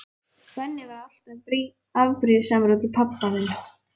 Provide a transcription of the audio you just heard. Benni var alltaf afbrýðisamur út í pabba þinn.